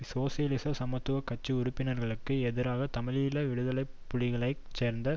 சோசியலிச சமத்துவ கட்சி உறுப்பினர்களுக்கு எதிராக தமிழீழ விடுதலை புலிகளைச் சேர்ந்த